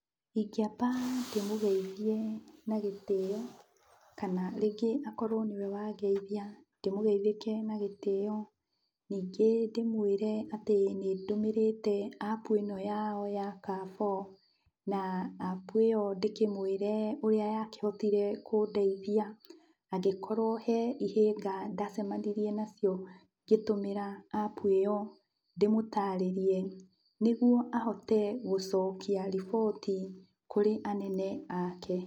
Ingĩamba ndĩmũgeithie na gĩtĩo, kana rĩngĩ akorwo nĩwe wa ngeithia ndĩmũgeithĩke na gĩtĩo. Ningĩ ndĩmwĩre atĩ nĩndũmĩrĩte apu ĩno yao ya Carrefour, na apu ĩyo ndĩkĩmwĩre ũrĩa yakĩhotire kũndeithia. Angĩkorwo he ihĩnga ndacemanirie nacio ngĩtũmĩra apu ĩyo ndĩmũtarĩrie nĩguo ahote gũcokia riboti kũrĩ anene ake.